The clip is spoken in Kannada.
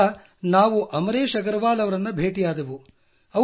ನಂತರ ನಾವು ಅಮರೇಶ್ ಅಗರವಾಲ್ ಅವರನ್ನು ಭೇಟಿಯಾದೆವು